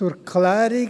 Zur Klärung